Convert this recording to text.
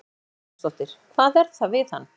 Hödd Vilhjálmsdóttir: Hvað er það við hann?